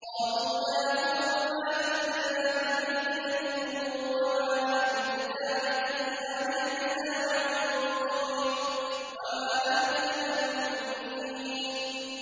قَالُوا يَا هُودُ مَا جِئْتَنَا بِبَيِّنَةٍ وَمَا نَحْنُ بِتَارِكِي آلِهَتِنَا عَن قَوْلِكَ وَمَا نَحْنُ لَكَ بِمُؤْمِنِينَ